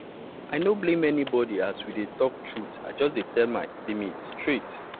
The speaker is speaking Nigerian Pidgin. i no blame anybody as we dey talk truth i just tell dem my limits straight